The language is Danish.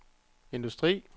industri